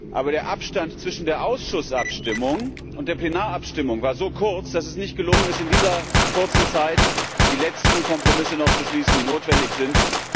Aber der Abstand zwischen der Abstimmung im Ausschuss und der Plenarabstimmung war so kurz, dass es nicht gelungen ist, in dieser kurzen Zeit die letzten Kompromisse noch zu schließen, die notwendig sind.